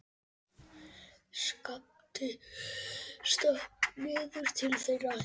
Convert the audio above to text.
Skapti stökk niður til þeirra.